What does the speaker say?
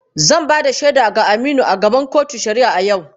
Zan ba da shaida ga Aminu a gaban kotun shari’a a yau.